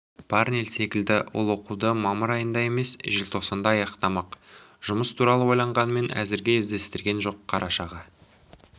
парнель секілді ол оқуды мамыр айында емес желтоқсанда аяқтамақ жұмыс туралы ойлағанымен әзірге іздестірген жоқ қарашаға